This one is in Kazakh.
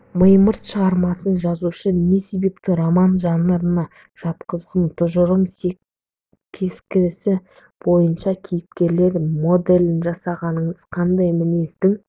мимырт шығармасын жазушы не себепті роман жанрына жатқызғын тұжырым кестесі бойынша кейіпкерлер моделін жасаңыздар қандай мінездің